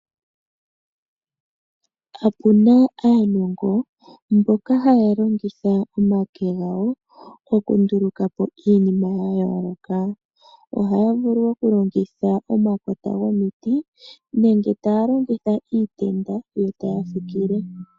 Opu na aanongo mboka haya longitha omake gawo okundulukapo iinima ya yooloka ohaya vulu wo okulongitha omakota gomiti nenge taya longitha iitenda yo taya fikile.